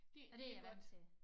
Det det er godt